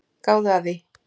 Gáðu að því.